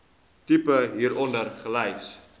tipe hieronder gelys